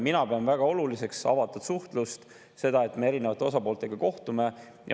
Mina pean väga oluliseks avatud suhtlust, seda, et me erinevate osapooltega kohtume.